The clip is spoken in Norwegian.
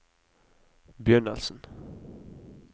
begynnelsen